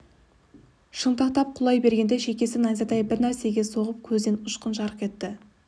шынтақтап құлай бергенде шекесі найзадай бір нәрсеге соғып көзінен ұшқын жарқ етті